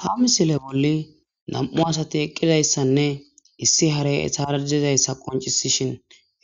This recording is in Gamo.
Ha misile bolli na'mu asati eqidayisanne issi hare etara dizayisa qonc'isishin